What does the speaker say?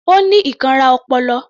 Ó ní ìkanra ọpọlọ